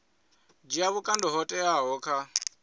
dzhia vhukando ho teaho kha